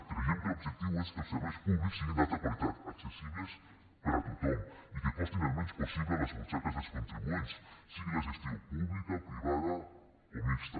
creiem que l’objectiu és que els serveis públics siguin d’alta qualitat accessibles per a tothom i que costin el menys possible a les butxaques dels contribuents sigui la gestió pública privada o mixta